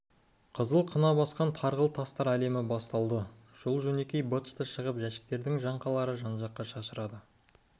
қызыл қына басқан тарғыл тастар әлемі басталды жол-жөнекей быт-шыты шығып жәшіктің жаңқалары жан-жаққа шашырады